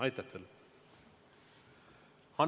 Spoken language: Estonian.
Aitäh teile!